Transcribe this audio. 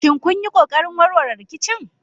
Shin kun yi ƙoƙarin warware rikicin?